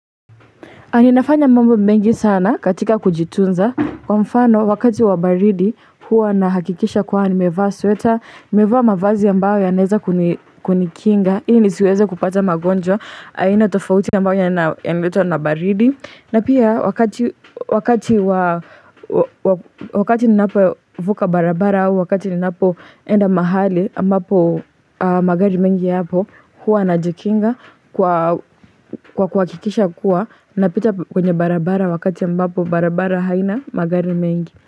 Aninafanya mambo mengi sana katika kujitunza, kwa mfano wakati wabaridi huwa na hakikisha kuwa nimevaa sweta, nimevaa mavazi yambayo yanaweza kunikinga, ili nisiweza kupata magonjwa, aina tofauti ambayo yanaletwa na baridi. Na pia wakati nina po vuka barabara, wakati nina po enda mahali ambapo magari mengi ya po hua na jikinga kwa kwa kikisha kuwa na pita kwenye barabara wakati ambapo barabara haina magari mengi.